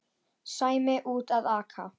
Sæmi úti að aka.